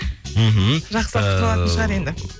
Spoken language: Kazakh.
мхм жақсылап күтіп алатын шығар енді